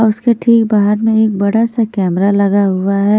और उसके ठीक बाहर में एक बड़ा सा कैमरा लगा हुआ है।